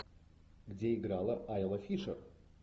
где играла айла фишер